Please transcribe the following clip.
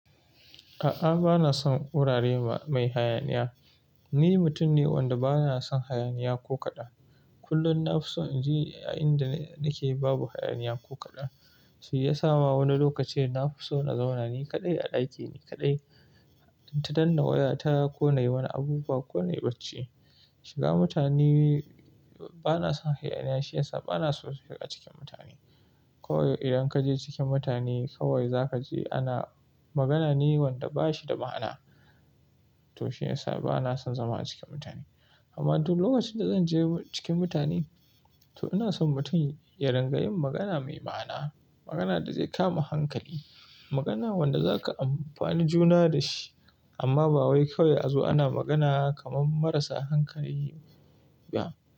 A'a, bana son wurare mai hayaniya. Ni mutum ne wanda bana son hayaniya ko kaɗan. Kullum na fi so in je a inda nake babu hayaniya ko kaɗan. Shi ya sa ma wani lokaci na fi so na zauna ni kaɗai a ɗakina kaɗai, in ta danna waya ta ko nai wani abu ba ko nai bacci. Shiga mutane bana son hayaniya, shi ya sa bana so shiga cikin mutane. Kawai idan kaje cikin mutane kawai zakaje ana magana ne wanda bashi da ma'ana. To shi ya sa bana son zama acikin mutane. Amma duk lokacin da zanje cikin mutane to ina son mutum ya rinƙayi magana mai ma'ana, magana da zai kama hankali, magana wanda zaka amfani juna da shi. Amma ba wai kawai a zo ana magana kaman marasa hankali ba.